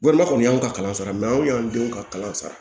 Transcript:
Walima kɔni y'anw ka kalan sara anw y'an denw ka kalan sara